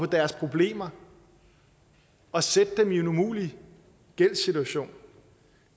deres problemer og sætte dem i en umulig gældssituation